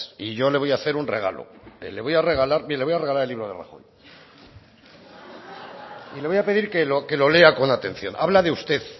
y yo le voy a hacer un regalo mire le voy a regalar el libro de rajoy y le voy a pedir que lo que lo lea con atención habla de usted